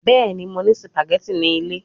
Bẹẹni, Mo ni spaghetti ni ile